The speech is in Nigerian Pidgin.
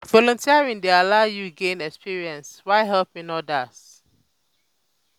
volunteering dey allow yu to gain experience while helping odas.